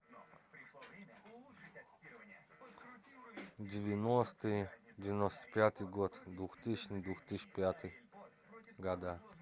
девяностый девяносто пятый год двухтысячный две тысячи пятый года